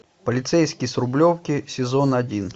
полицейский с рублевки сезон один